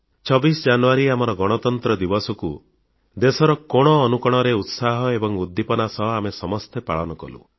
26 ଜାନୁୟାରୀ ଆମର ଗଣତନ୍ତ୍ର ଦିବସକୁ ଦେଶର କୋଣ ଅନୁକୋଣରେ ଉତ୍ସାହ ଏବଂ ଉଦ୍ଦୀପନା ସହ ଆମେ ସମସ୍ତେ ପାଳନ କଲୁ